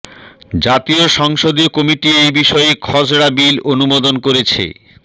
জাতীয় সংসদীয় কমিটি এই বিষয়ে খসড়া বিল অনুমোদন করেছে